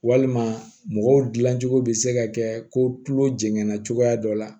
Walima mɔgɔw dilancogo bɛ se ka kɛ ko tulo jɛnna cogoya dɔ la